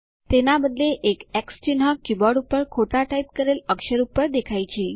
તેના બદલે એક એક્સ ચિહ્ન કીબોર્ડ પર ખોટા ટાઇપ કરેલ અક્ષર પર દેખાય છે